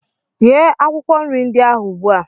Ghee akwụkwọ nri ndị ahụ ugbu a!